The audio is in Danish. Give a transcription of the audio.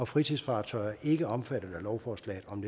fritidsfartøjer er ikke omfattet af lovforslaget om